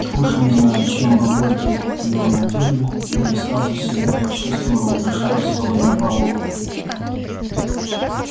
уж не знаю чем бабульки его натёрли но я сразу себя почувствовала наташей ростовой на балу